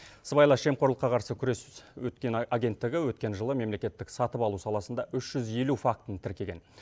сыбайлас жемқорлыққа қарсы күрес өткен агенттігі өткен жылы мемлекеттік сатып алу саласында үш жүз елу фактіні тіркеген